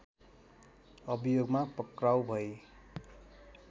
अभियोगमा पक्राउ भई